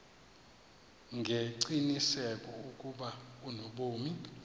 ngengqiniseko ukuba unobomi